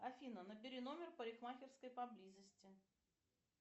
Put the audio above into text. афина набери номер парикмахерской поблизости